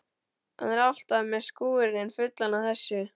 Hann er alltaf með skúrinn fullan af þessu.